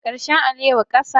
Karshen alewa kasa